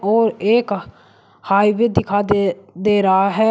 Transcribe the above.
और एक हाईवे दिखा दे दे रहा है।